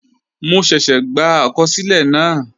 Mo ṣẹ́ṣẹ́ gbà àkọsílẹ̀ náà